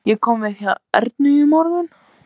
Ég kom við hjá Ernu í morgun.